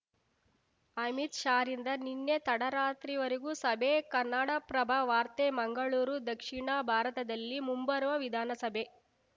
ಅಮಿತ್‌ ಶಾರಿಂದ ನಿನ್ನೆ ತಡರಾತ್ರಿವರೆಗೂ ಸಭೆ ಕನ್ನಡಪ್ರಭ ವಾರ್ತೆ ಮಂಗಳೂರು ದಕ್ಷಿಣ ಭಾರತದಲ್ಲಿ ಮುಂಬರುವ ವಿಧಾನಸಭೆ